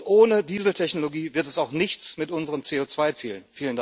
Und ohne Dieseltechnologie wird es auch nichts mit unseren CO2 Zielen.